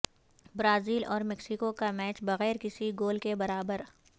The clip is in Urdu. برازیل اور میکسیکو کا میچ بغیر کسی گول کے برابر